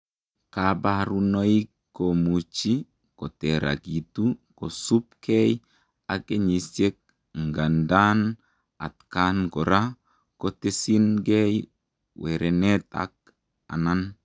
Kaparunoik komuchii koterakituu kosuup kei ak kenyisiek ngandaa atkaan koraa kotesin gei werenet ak anan